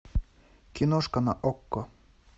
киношка на окко